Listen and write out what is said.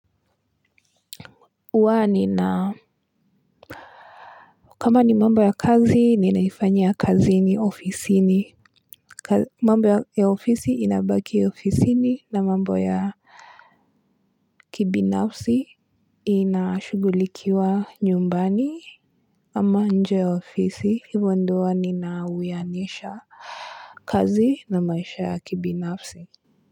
Huwa nina kama ni mambo ya kazi ni naifanyia kazini ofisini mambo ya ofisi inabaki ya ofisini na mambo ya kibinafsi inashugulikiwa nyumbani ama nje ya ofisi hivo ndio huwa nina uyanisha kazi na maisha ya kibinafsi.